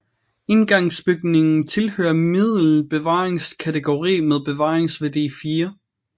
Indgangsbygningen tilhører middel bevaringskategori med bevaringsværdi 4